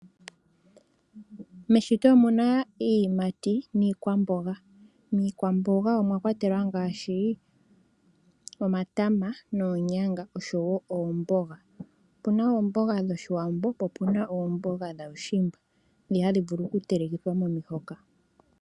Meshito omuna iiyimati niikwamboga, miikwamboga omwa kwatelwa ngaashi: omatama, oonyanga noshowo oomboga, opuna oomboga dhoshiwambo noshowo dhaushimba ndhi hadhi vulu oku telekithwa momi hoka.